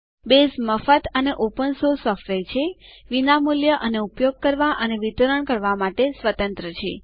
base મફત અને open source software છે વિનામૂલ્ય અને ઉપયોગ કરવા અને વિતરણ કરવા માટે સ્વતંત્ર છે